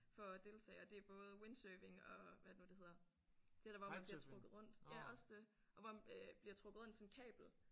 For at deltage og det er både windsurfing og hvad er det nu det hedder det der hvor man bliver trukket rundt ja også det og hvor øh bliver trukket rundt i sådan et kabel